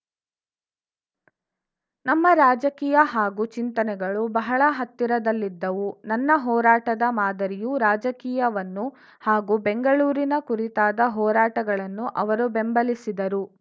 ನಮ್ಮ ರಾಜಕೀಯ ಹಾಗೂ ಚಿಂತನೆಗಳು ಬಹಳ ಹತ್ತಿರದಲ್ಲಿದ್ದವು ನನ್ನ ಹೋರಾಟದ ಮಾದರಿಯು ರಾಜಕೀಯವನ್ನು ಹಾಗೂ ಬೆಂಗಳೂರಿನ ಕುರಿತಾದ ಹೋರಾಟಗಳನ್ನು ಅವರು ಬೆಂಬಲಿಸಿದರು